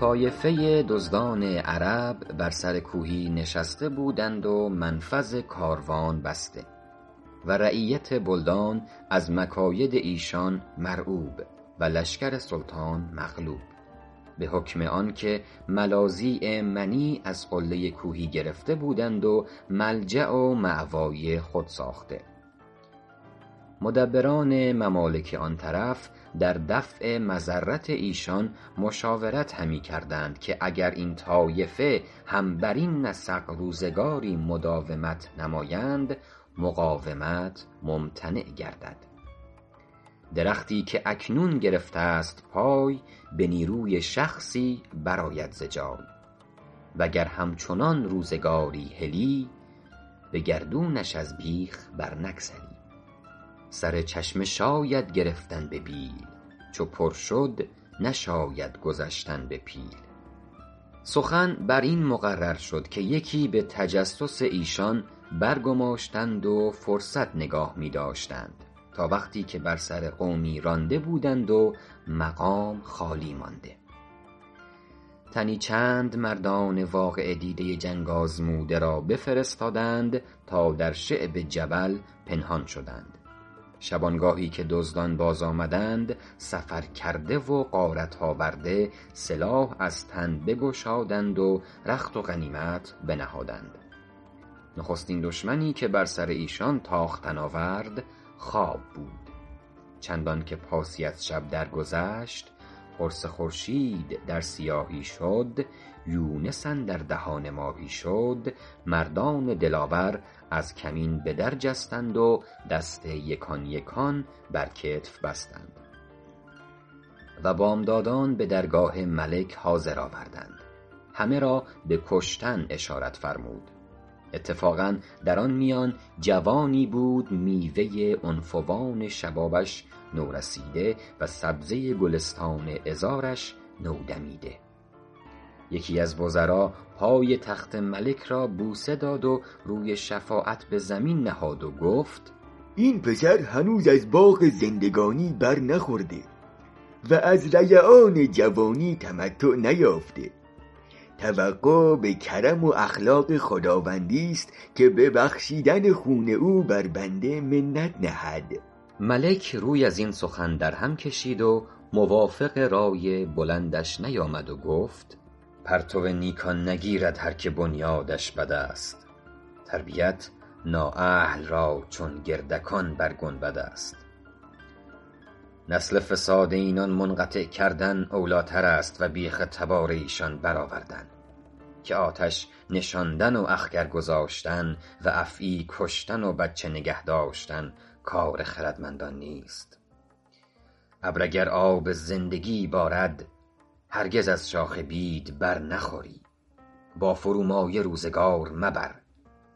طایفه دزدان عرب بر سر کوهی نشسته بودند و منفذ کاروان بسته و رعیت بلدان از مکاید ایشان مرعوب و لشکر سلطان مغلوب به حکم آنکه ملاذی منیع از قله کوهی گرفته بودند و ملجأ و مأوای خود ساخته مدبران ممالک آن طرف در دفع مضرت ایشان مشاورت همی کردند که اگر این طایفه هم برین نسق روزگاری مداومت نمایند مقاومت ممتنع گردد درختی که اکنون گرفته ست پای به نیروی شخصی برآید ز جای و گر همچنان روزگاری هلی به گردونش از بیخ بر نگسلی سر چشمه شاید گرفتن به بیل چو پر شد نشاید گذشتن به پیل سخن بر این مقرر شد که یکی به تجسس ایشان برگماشتند و فرصت نگاه می داشتند تا وقتی که بر سر قومی رانده بودند و مقام خالی مانده تنی چند مردان واقعه دیده جنگ آزموده را بفرستادند تا در شعب جبل پنهان شدند شبانگاهی که دزدان باز آمدند سفرکرده و غارت آورده سلاح از تن بگشادند و رخت و غنیمت بنهادند نخستین دشمنی که بر سر ایشان تاختن آورد خواب بود چندان که پاسی از شب در گذشت قرص خورشید در سیاهی شد یونس اندر دهان ماهی شد مردان دلاور از کمین به در جستند و دست یکان یکان بر کتف بستند و بامدادان به درگاه ملک حاضر آوردند همه را به کشتن اشارت فرمود اتفاقا در آن میان جوانی بود میوه عنفوان شبابش نورسیده و سبزه گلستان عذارش نودمیده یکی از وزرا پای تخت ملک را بوسه داد و روی شفاعت بر زمین نهاد و گفت این پسر هنوز از باغ زندگانی بر نخورده و از ریعان جوانی تمتع نیافته توقع به کرم و اخلاق خداوندی ست که به بخشیدن خون او بر بنده منت نهد ملک روی از این سخن در هم کشید و موافق رای بلندش نیامد و گفت پرتو نیکان نگیرد هر که بنیادش بد است تربیت نااهل را چون گردکان بر گنبد است نسل فساد اینان منقطع کردن اولی تر است و بیخ تبار ایشان بر آوردن که آتش نشاندن و اخگر گذاشتن و افعی کشتن و بچه نگه داشتن کار خردمندان نیست ابر اگر آب زندگی بارد هرگز از شاخ بید بر نخوری با فرومایه روزگار مبر